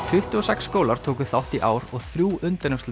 tuttugu og sex skólar tóku þátt í ár og þrjú